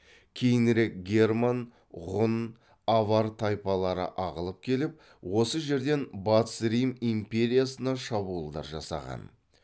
кейінірек герман ғұн авар тайпалары ағылып келіп осы жерден батыс рим империясына шабуылдар жасаған